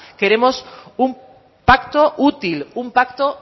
queremos un pacto útil un pacto